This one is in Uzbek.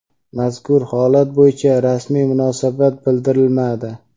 mazkur holat bo‘yicha rasmiy munosabat bildirilmadi.